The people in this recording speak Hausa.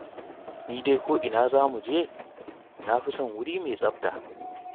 Ni dai ko ina za mu je, na fi son wuri mai tsafta.